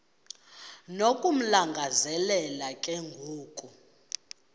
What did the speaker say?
nokumlangazelela ke ngoku